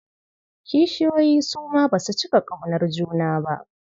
Kishiyoyi su ma ba su cika ƙaunar juna.